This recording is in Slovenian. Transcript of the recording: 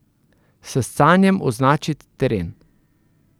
S scanjem označit teren.